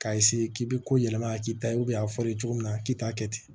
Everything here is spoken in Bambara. K'a k'i bɛ ko yɛlɛma k'i ta ye a fɔra i ye cogo min na k'i t'a kɛ ten